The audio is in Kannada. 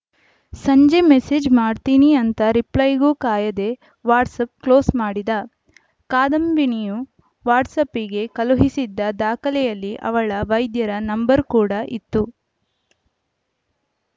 ಸಂಜೆ ಮೆಸೇಜು ಮಾಡ್ತೀನಿ ಅಂತ ರಿಪ್ಲೈಗೂ ಕಾಯದೇ ವಾಟ್ಸಾಪ್‌ ಕ್ಲೋಸ್‌ ಮಾಡಿದ ಕಾದಂಬಿನಿಯು ವಾಟ್ಸಾಪಿಗೆ ಕಳುಹಿಸಿದ್ದ ದಾಖಲೆಯಲ್ಲಿ ಅವಳ ವೈದ್ಯರ ನಂಬರ್‌ ಕೂಡಾ ಇತ್ತು